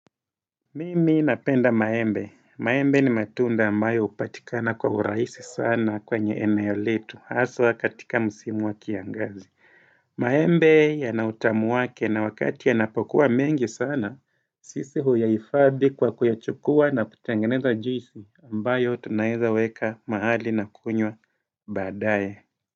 Mimi napenda maembe. Maembe ni matunda ambayo upatikana kwa urahisi sana kwenye eneo letu haswa katika musimu wa kiangazi. Maembe yana utamu wake na wakati yanapokua mengi sana sisi huyaifadhi kwa kuyachukua na kutengeneza juisi ambayo tunaezaweka mahali na kunywa baadae.